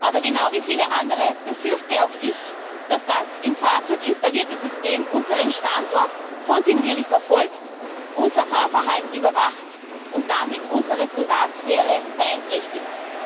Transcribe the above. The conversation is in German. Aber genau wie viele andere befürchte auch ich, dass das im Fahrzeug installierte System unseren Standort kontinuierlich verfolgt, unser Fahrverhalten überwacht und damit unsere Privatsphäre beeinträchtigt.